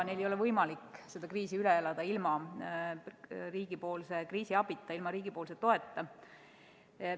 Neil ei ole võimalik seda kriisi üle elada ilma riigipoolse kriisiabita, ilma riigi toeta.